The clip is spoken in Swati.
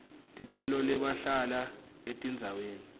ticelo labahlala etindzaweni